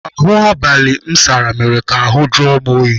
Ahụ abalị m sara mere ka ahụ jụọ m oyi.